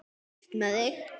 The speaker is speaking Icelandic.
Burt með þig.